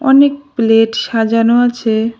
অনেক প্লেট সাজানো আছে।